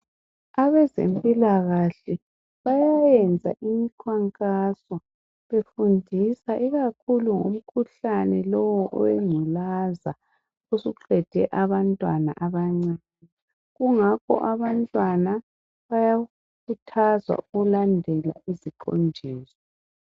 Abezempilaahle bayayenza imikhankaso befundisa ikakhulu umkhuhlane lowu owengculaza osuqede abantwana abancane kungakho abantwana abayakhuthazwa ukulandela iziqondiso